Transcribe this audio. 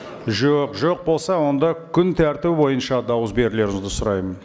жоқ жоқ болса онда күн тәртібі бойынша дауыс берулеріңізді сұраймын